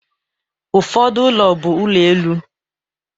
Ụfọdụ ụlọ bụ ụlọ elu